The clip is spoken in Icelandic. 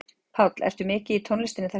Páll: Ertu mikið í tónlistinni þessa dagana?